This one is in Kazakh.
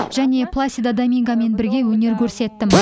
және пласидо домингомен бірге өнер көрсеттім